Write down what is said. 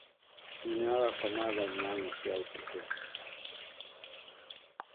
Nyina agakoma tha inyanya cia ũtukũ